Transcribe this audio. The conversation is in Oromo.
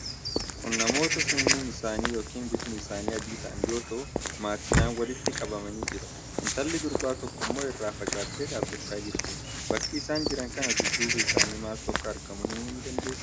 Kun namoota sanyiin yookiin bifni isaanii adii ta'an yoo ta'u, maatidhaan walitti qabamanii jiru. Intalli durbaa tokkommoo irraa fagaattee dhaabachaa jirti. bakka isaan jiran kana dudduuba isaanii maaltu akka argamu himuu dandeessaa?